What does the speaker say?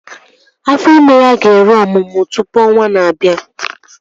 Afọ ime ya ga-eru ọmụmụ tụpụ ọnwaa na-abịa